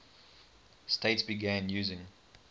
states began using